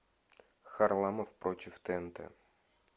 харламов против тнт